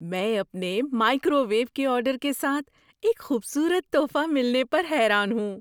میں اپنے microwave کے آرڈر کے ساتھ ایک خوبصورت تحفہ ملنے پر حیران ہوں۔